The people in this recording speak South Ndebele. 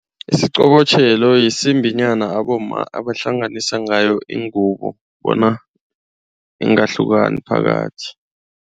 Isiqobotjhelo yisimbi nyana abomma bahlanganisa ngayo iingubo bona ingahlukani phakathi.